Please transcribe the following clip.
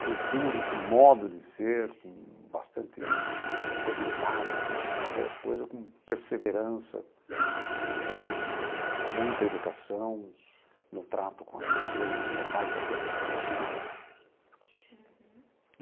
cultura, esse modo de ser com bastante seriedade né, fazer as coisas com perseverança, com muita educação no trato com as pessoas, isso meu pai fazia questão absoluta.